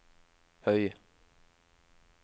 høy